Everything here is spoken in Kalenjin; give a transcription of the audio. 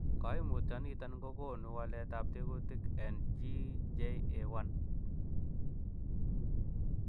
Koimutioniton kokonu waletab tekutik en GJA1